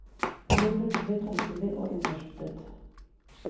Hun ble plutselig tungsindig og innesluttet.